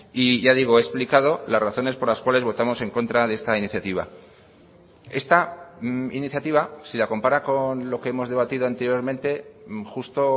y ya digo he explicado las razones por las cuales votamos en contra de esta iniciativa esta iniciativa si la compara con lo que hemos debatido anteriormente justo